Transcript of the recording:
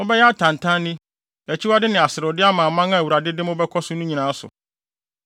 Mobɛyɛ atantanne, akyiwade ne aserewde ama aman a Awurade de mobɛkɔ so no nyinaa so.